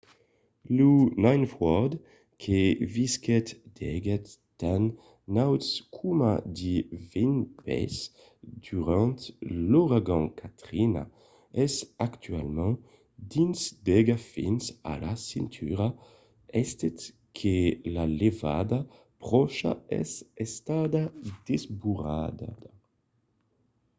lo ninth ward que visquèt d'aigats tan nauts coma de 20 pès durant l'auragan katrina es actualament dins d'aiga fins a la cintura estent que la levada pròcha es estada desbordada